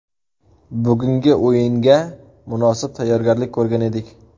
Bugungi o‘yinga munosib tayyorgarlik ko‘rgan edik.